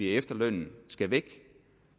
at efterlønnen skal væk